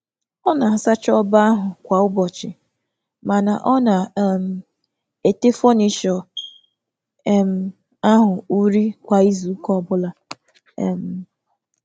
Ọ na-asacha shelf um kwa ụbọchị, um um ma na-emecha furnịtù otu um ugboro n’izu.